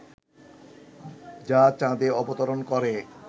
যা চাঁদে অবতরণ করে